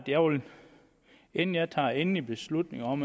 inden jeg tager endelig beslutning om